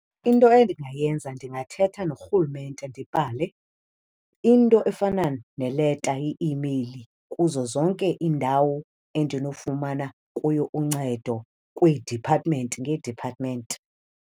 Into endingayenza ndingathetha norhulumente ndibhale into efana neleta, i-imeyili, kuzo zonke iindawo endinofumana kuyo uncedo kwii-department ngee-department.